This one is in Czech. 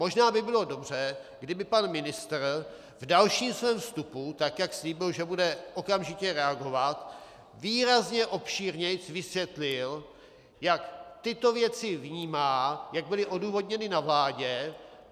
Možná by bylo dobře, kdyby pan ministr v dalším svém vstupu, tak jak slíbil, že bude okamžitě reagovat, výrazně obšírněji vysvětlil, jak tyto věci vnímá, jak byly odůvodněny na vládě.